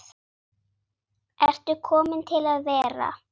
Ertu komin til að vera?